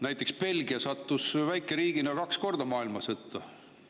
Näiteks Belgia sattus väikeriigina kaks korda maailmasõtta.